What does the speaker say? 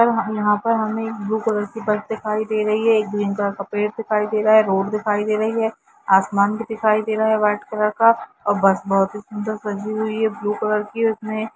M यहाँ पर हमे एक ब्लू कलर की बस दिखाई दे रही है एक ग्रीन कलर की पेड़ दिखाई दे रहा है रोड दिखाई दे रही है आसमान भी दिखाई दे रहा है वाइट कलर का और बस बहुत ही सुन्दर सजी हुई है ब्लू कलर की उसमे--